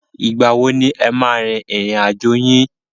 Ìgbà wo ni e máa a rin ìrìn àjò yín?